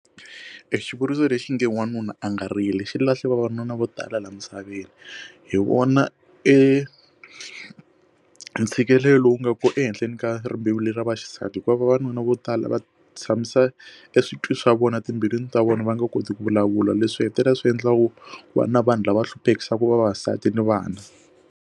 xivuriso lexinge wanuna a nga rili xilahle vavanuna vo tala laha misaveni hi vona entshikelelo lowu nga ku ehenhleni ka rimbewu lera vaxisati hikuva vavanuna vo tala va tshamisa eswitwi swa vona timbilwini ta vona va nga koti ku vulavula leswi hetelela swi endlaka ku va na vanhu lava hluphekisiwi vavasati ni vana.